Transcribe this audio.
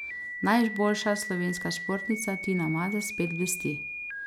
Najboljša slovenska športnica Tina Maze spet blesti.